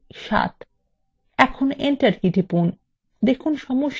এখন enter key টিপুন